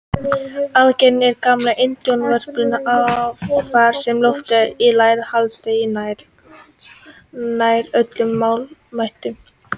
Aðgreiningin er gamall indóevrópskur arfur sem lotið hefur í lægra haldi í nær öllum málaættunum.